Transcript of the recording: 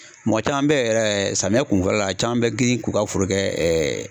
Mɔgɔ caman be yen yɛrɛ ,samiyɛ kunfɔlɔ la a caman be girin k'u ka foro kɛ